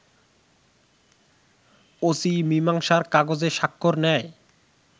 OC মীমাংসার কাগজে স্বাক্ষর নেয়